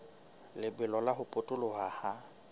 lebelo la ho potoloha ha